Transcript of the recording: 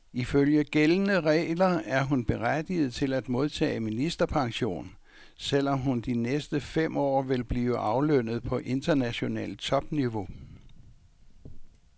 Ifølge gældende regler er hun berettiget til at modtage ministerpension, selv om hun de næste fem år vil blive aflønnet på internationalt topniveau.